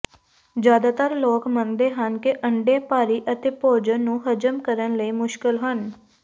ਜ਼ਿਆਦਾਤਰ ਲੋਕ ਮੰਨਦੇ ਹਨ ਕਿ ਅੰਡੇ ਭਾਰੀ ਅਤੇ ਭੋਜਨ ਨੂੰ ਹਜ਼ਮ ਕਰਨ ਲਈ ਮੁਸ਼ਕਲ ਹਨ